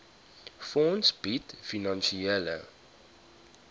fonds bied finansiële